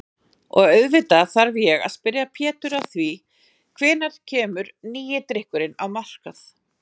Og auðvitað þarf ég að spyrja Pétur að því hvenær kemur nýi drykkurinn á markað?